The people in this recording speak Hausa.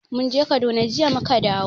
Mun je Kaduna, jiya mu ka dawo.